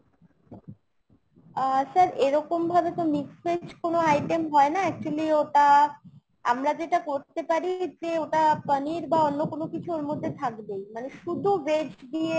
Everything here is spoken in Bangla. আহ sir এরকমভাবে তো mixed veg কোনো item হয় না actually ওটা আমরা যেটা করতে পারি যে ওটা পনির বা অন্য কিছু ওর মধ্যে থাকবেই। মানে শুধু veg দিয়ে